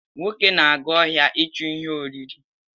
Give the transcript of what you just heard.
Nwoke na-aga ọhịa ichu ihe oriri